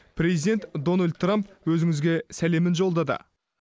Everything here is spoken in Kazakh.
президент дональд трамп өзіңізге сәлемін жолдады